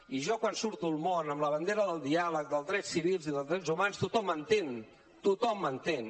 i jo quan surto al món amb la bandera del diàleg dels drets civils i dels drets humans tothom m’entén tothom m’entén